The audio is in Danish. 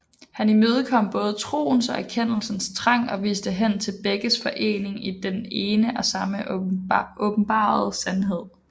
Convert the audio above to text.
Han imødekom både troens og erkendelsens trang og viste hen til begges forening i den ene og samme åbenbarede sandhed